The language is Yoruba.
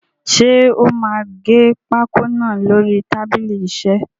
Ṣé o máa gé pákó náà lórí tábìlì isẹ́?